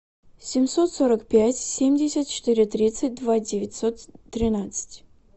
семьсот сорок пять семьдесят четыре тридцать два девятьсот тринадцать